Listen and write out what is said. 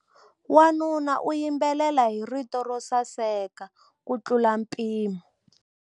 Wanuna u yimbelela hi rito ro saseka kutlula mpimo.